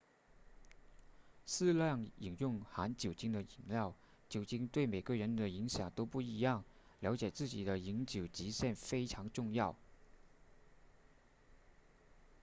适量饮用含酒精的饮料酒精对每个人的影响都不一样了解自己的饮酒极限非常重要